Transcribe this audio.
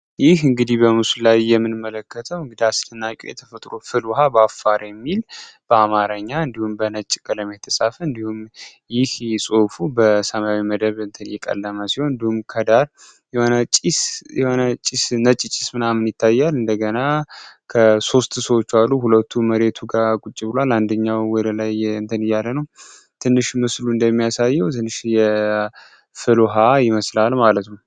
ይህ እንግዲህ በምሱ ላይ የምንመለከተው እግዳ አስልናቂ የተፈጥሮ ፍልውሃ በአፋር የሚል በአማረኛ እንዲሁም በነጭ ቀለም የተጻፈ እንዲሁም ይህ ጽሑፉ በሰማዊ የመደብ እንደተቀለመ ሲሆን እንዲሁም ከዳር የሆነ ጭስ ነጭ ጭስ ምናምን ይታያል እንደገና ከሦስት ሰዎቹ አሉ ሁለቱ መሬቱ ጋር ቁጭ ብለዋል አንድኛው ዳር ላይ እንተንያለነው ትንሽ ምስሉ እንደሚያሳየው ትንሽ የፍልውሃ ይመስላል ማለት ነው።